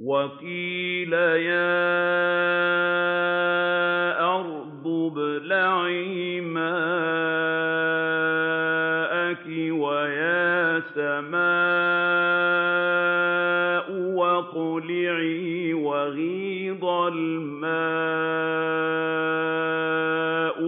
وَقِيلَ يَا أَرْضُ ابْلَعِي مَاءَكِ وَيَا سَمَاءُ أَقْلِعِي وَغِيضَ الْمَاءُ